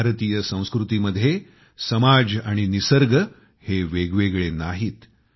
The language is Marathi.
भारतीय संस्कृतीमध्ये समाज आणि निसर्ग हे वेगवेगळे नाहीत